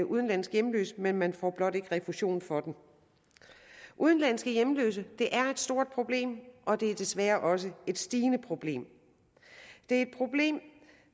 udenlandsk hjemløs men man får ikke refusion for det udenlandske hjemløse er et stort problem og det er desværre også et stigende problem det er et problem